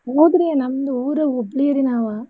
ಹೌದ್ರೀ ನಮ್ದು ಊರು ಹುಬ್ಳಿ ರೀ ನಾವ್.